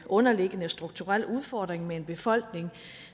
underliggende strukturel udfordring med en befolkning